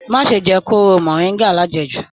Má ṣe jẹ kooro moringa lajẹ́jù.